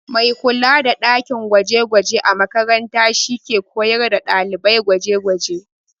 Mai kula da ɗakin gwaje-gwaje a makaranta shi ke koyar da ɗalibai gwaje-gwaje.